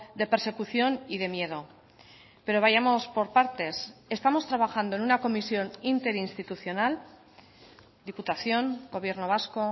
de persecución y de miedo pero vayamos por partes estamos trabajando en una comisión interinstitucional diputación gobierno vasco